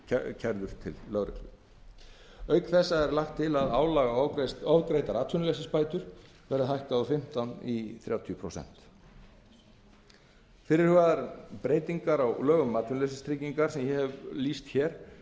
kærð til lögreglu auk þessa er lagt til að álag á ofgreiddar atvinnuleysisbætur verði hækkað úr fimmtán prósent í þrjátíu prósent fyrirhugaðar breytingar á lögum um atvinnuleysistryggingar sem ég hef rætt um